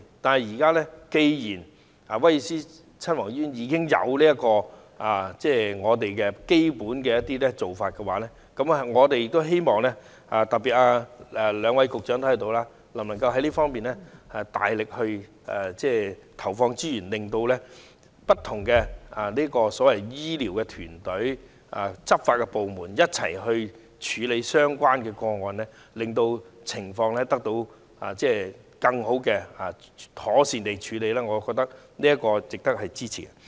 但是，現在既然威爾斯親王醫院已經提供這方面的一站式支援服務，我們希望政府，特別是在席的兩位局長，在這方面大力投放資源，令不同的醫療團隊、執法部門可以一同處理這些個案，令受害人獲得更妥善的服務，我認為這值得支持。